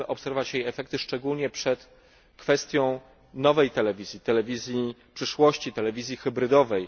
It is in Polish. Chcemy obserwować jej efekty, szczególnie przed pojawieniem się nowej telewizji telewizji przyszłości, telewizji hybrydowej.